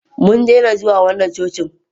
mun daina zuwa wannan cocin